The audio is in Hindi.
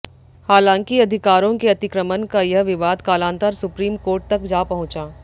हालांकि अधिकारों के अतिक्रमण का यह विवाद कालांतर सुप्रीम कोर्ट तक जा पहुंचा